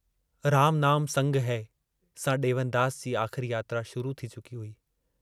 राम नाम संग है सां दे॒वनदास जी आख़िरी यात्रा शुरू थी चुकी हुई।